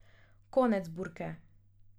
Konec burke.